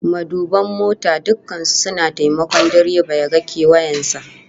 Maduban mota dukkan su suna taimakon direba ya ga kewayen sa